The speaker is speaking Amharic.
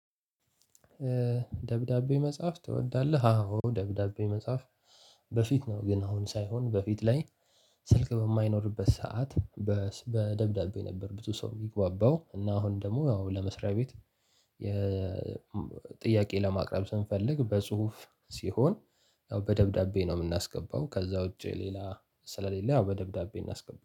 ደብዳቤ መጻፍ ትወዳለህ? አዎ ደብዳቤ መጻፍ በፊት ነው። ግን አሁን ሳይሆን በፊት ላይ ስልክ በማይኖርበት ሰዓት። በደብዳቤ ነበር ብዙ ሰው የሚግባባው እና አሁን ደግሞ ያው ለመስሪያ ቤት። ጥያቄ ለማቅረብ ስንፈልግ በጽሁፍ ሲሆን ያው በደብዳቤ ነው የምናስገባው። ከዛ ውጪ ሌላ ስለሌላ ያው በደብዳቤ እናስገባለን